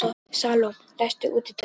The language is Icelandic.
Salome, læstu útidyrunum.